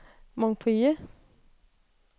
Montpellier